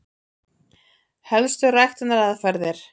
Helstu ræktunaraðferðir: